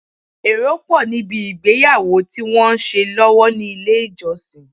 Èrò pọ̀ ní bi ìgbéyàwó tí wọ́n ń ṣe lọ́wọ́ ní ilé ìjọsìn.